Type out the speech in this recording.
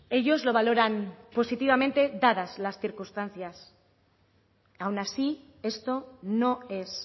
ellos lo valoran positivamente dadas las circunstancias aun así esto no es